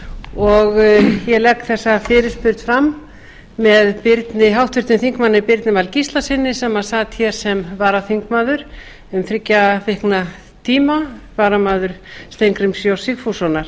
og ég legg þessa fyrirspurn fram með háttvirtum þingmanni birni val gíslasyni sem sat hér sem varaþingmaður um þriggja vikna tíma varamaður steingríms j sigfússonar